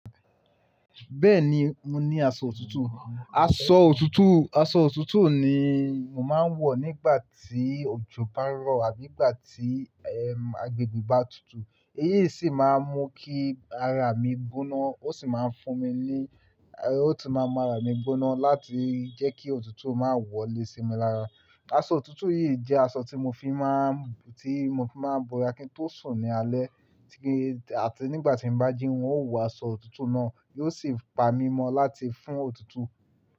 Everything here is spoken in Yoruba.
Bẹ́ẹ̀ni, mo ní aṣọ òtútù. Aṣọ òtútù, aṣọ òtútù ni màá ń wọ̀ nígbà tí òjò bá ń rọ̀ àbí ìgbà tí, ẹm, agbègbè bá tutù. Eyí sì máa ń mú kí ara mi gbóná, ó sì máa ń fún mi ní, ó sì máa ń mú ara mi gbóná láti jẹ́ kí òtútù má wọlé sinmi lára. Aṣọ òtútù yìí jẹ́ aṣọ tí mo fi máa, tí mo fi máa ń bọra kí n tó sùn ní alẹ́. Tí kí, àti nígbà tí bá jí ó wọ aṣọ òtútù náà, yóò sì pa mí mọ́ láti fún òtútù.